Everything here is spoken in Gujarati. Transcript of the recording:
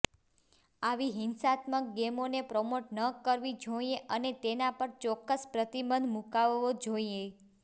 આવી હિંસાત્મક ગેમોને પ્રમોટ ન કરવી જોઈએ અને તેના પર ચોક્કસ પ્રતિબંધ મુકાવવો જોઈએ